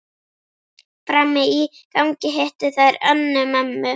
Frammi í gangi hittu þær Önnu, mömmu